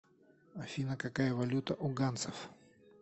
афина какая валюта у ганцев